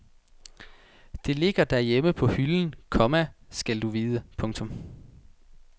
Det ligger derhjemme på hylden, komma skal du vide. punktum